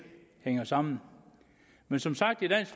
hænger sammen men som sagt i dansk